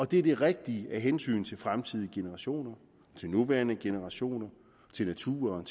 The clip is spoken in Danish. det er det rigtige af hensyn til fremtidige generationer nuværende generationer naturen